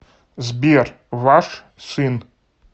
сбер ваш сын